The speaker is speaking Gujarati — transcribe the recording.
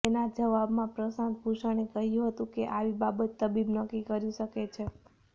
તેના જવાબમાં પ્રશાંત ભુષણે કહૃાુ હતુ કે આવી બાબત તબીબ નક્કી કરી શકે છે